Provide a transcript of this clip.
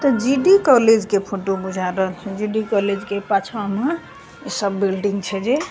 त GD. College के photo बुझा रहल जी.डी. कॉलेज के पाछा मअ इ सब बिल्डिंग छे जे।